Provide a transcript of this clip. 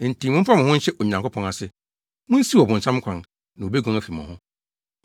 Enti momfa mo ho nhyɛ Onyankopɔn ase. Munsiw ɔbonsam kwan, na obeguan afi mo ho.